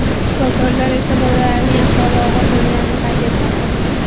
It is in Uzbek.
Shifokorlar esa bolalarning ahvoli og‘ir bo‘lganini qayd etmoqda.